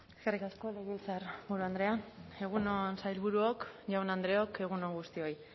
eskerrik asko legebiltzarburu andrea egun on sailburuok jaun andreok egun on guztioi